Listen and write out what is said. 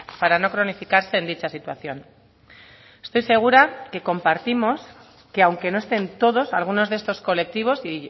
para no cronificarse en dicha situación estoy segura que compartimos que aunque no estén todos algunos de estos colectivos y